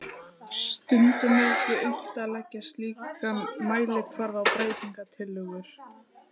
Stundum er ekki unnt að leggja slíkan mælikvarða á breytingatillögur.